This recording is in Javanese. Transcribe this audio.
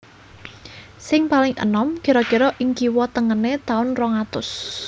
Sing paling enom kira kira ing kiwa tengené taun rong atus